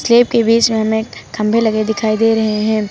के बीच में हमें खंभे लगे दिखाई दे रहे हैं।